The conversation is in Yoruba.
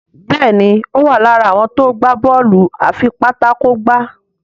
Béèni o wá lára àwọn tó gbà Bọ́ọ̀lù afipátákó gbá.